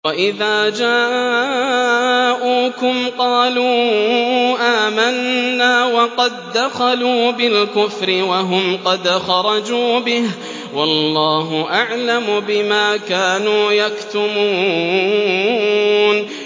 وَإِذَا جَاءُوكُمْ قَالُوا آمَنَّا وَقَد دَّخَلُوا بِالْكُفْرِ وَهُمْ قَدْ خَرَجُوا بِهِ ۚ وَاللَّهُ أَعْلَمُ بِمَا كَانُوا يَكْتُمُونَ